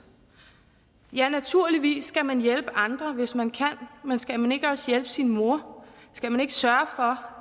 ja naturligvis skal man hjælpe andre hvis man kan men skal man ikke også hjælpe sin mor skal man ikke sørge for